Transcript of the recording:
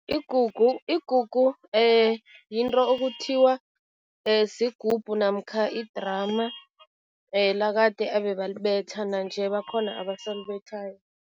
Igugu yinto okuthiwa sigubhu namkha i-drum lakade ebebalibetha, nanje bakhona abasalibethayo.